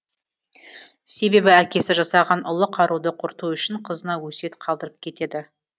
себебі әкесі жасаған ұлы қаруды құрту үшін қызына өсиет қалдырып кетеді